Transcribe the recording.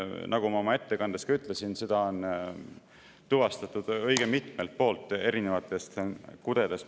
Nagu ma oma ettekandes ka ütlesin, seda on tuvastatud õige mitmelt poolt erinevatest kudedest.